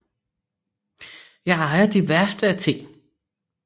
Jeg ejer de værste af ting